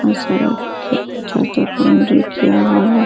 और सड़क के पीछे से बाउंड्री किया हुआ है।